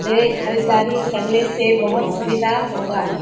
ये खरीददारी करने से बहुत सुविधा होगा।